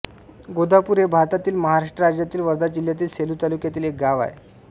गोदापूर हे भारतातील महाराष्ट्र राज्यातील वर्धा जिल्ह्यातील सेलू तालुक्यातील एक गाव आहे